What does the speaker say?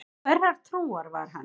Hverrar trúar var hann?